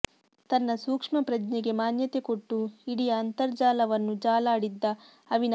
ತನ್ನ ಸೂಕ್ಷ್ಮ ಪ್ರಜ್ಞೆಗೆ ಮಾನ್ಯತೆ ಕೊಟ್ಟು ಇಡಿಯ ಅಂತಜರ್ಾಲವನ್ನು ಜಾಲಾಡಿದ್ದ ಅವಿನಾಶ